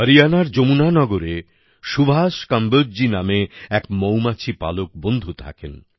হরিয়ানার যমুনানগরে সুভাষ কম্বোজজী নামে এক মৌমাছি পালক বন্ধু থাকেন